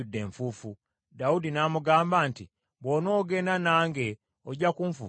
Dawudi n’amugamba nti, “Bw’onoogenda nange ojja kunfuukira ekizibu.